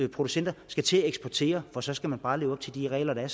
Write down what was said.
producenter skal til at eksportere for så skal de bare leve op til de regler der er